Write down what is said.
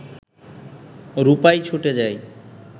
রূপাই ছুটে যায়